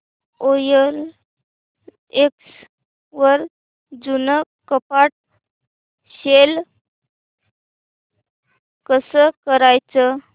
OLX वर जुनं कपाट सेल कसं करायचं